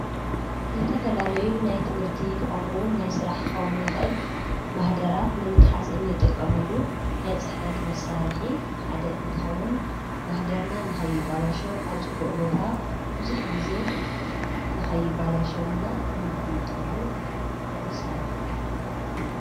ዘተፈላለዩ ናይ ትምህርቲ ኸምኡውን ናይ ሥራሕ ክኸዉን ይኽእል ማኅደራት ንምትሓዝ እንጠቀመሉ ናይ ጽሕፈት መሣርሒ ሓደ እንትኸውን ማኅደርና ንኸይባላሸ ኣብ ጽቡእ ቦታ ብዙኅ ጊዜ ንኸይባላሸወና እንቆምጠሉ መሣርሕ አዮ።